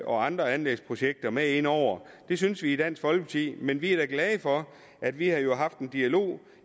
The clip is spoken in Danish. og andre anlægsprojekter med ind over det synes vi i dansk folkeparti men vi er da glade for at vi har haft en dialog